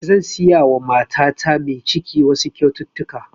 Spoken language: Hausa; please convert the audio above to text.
Zan siya wa matata mai ciki wasu kyaututtuka